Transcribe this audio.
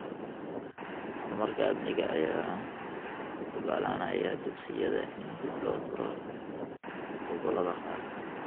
Horumarka amniga ayaa u oggolaanaya dugsiyada in dib loo furo gobollada qaar.